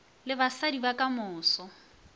le basadi ba ka moso